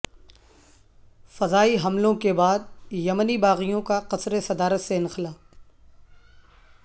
فضائی حملوں کے بعد یمنی باغیوں کا قصر صدارت سے انخلا